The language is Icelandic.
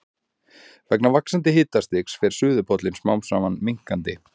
Vegna vaxandi hitastigs fer suðurpóllinn smám saman minnkandi.